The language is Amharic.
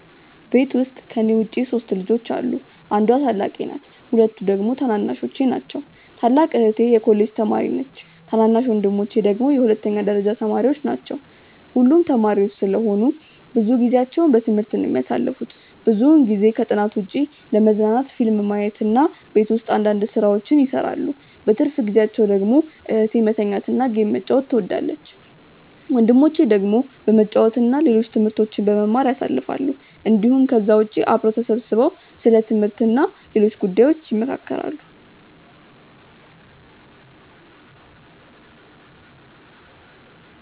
ቤት ውስጥ ከኔ ውጪ 3 ልጆች አሉ። አንዷ ታላቄ ናት ሁለቱ ደግሞ ታናናሾቼ ናቸው። ታላቅ እህቴ የኮሌጅ ተማሪ ነች ታናናሽ ወንድሞቼ ደግሞ የሁለተኛ ደረጃ ተማሪዎች ናቸው። ሁሉም ተማሪዎች ስለሆኑ ብዙ ጊዜአቸውን በትምህርት ነው የሚያሳልፉት። ብዙውን ጊዜ ከጥናት ውጪ ለመዝናናት ፊልም ማየት እና ቤት ውስጥ አንዳንድ ስራዎችን ይሰራሉ። በትርፍ ጊዜአቸው ደግሞ እህቴ መተኛት እና ጌም መጫወት ትወዳለች። ወንድሞቼ ደግሞ በመጫወት እና ሌሎች ትምህርቶችን በመማር ያሳልፋሉ እንዲሁም ከዛ ውጪ አብረው ተሰብስበው ስለ ትምህርት እና ሌሎች ጉዳዮች ይመካከራሉ።